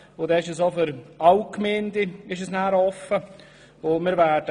Dies stünde allen Gemeinden offen.